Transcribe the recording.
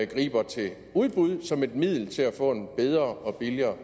griber til udbud som et middel til at få en bedre og billigere